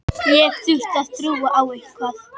Þessi þáttaröð fer í marga hringi.